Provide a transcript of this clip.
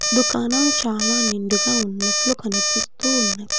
దుకాణం చాలా నిండుగా ఉన్నట్లు కనిపిస్తూ ఉన్నది.